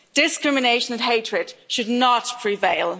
Discrimination and hatred should not prevail.